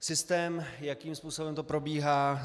Systém, jakým způsobem to probíhá.